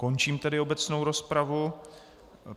Končím tedy obecnou rozpravu.